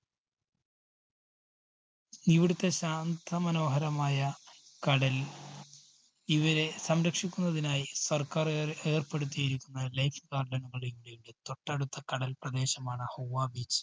ഇവിടത്തെ ശാന്ത മനോഹരമായ കടല്‍, ഇവരെ സംരക്ഷിക്കുന്നതിനായി സര്‍ക്കാര്‍ ഏ~ഏര്‍പ്പെടുത്തിയിരിക്കുന്ന life garden തൊട്ടടുത്ത കടല്‍ പ്രദേശമാണ് Hawah beach.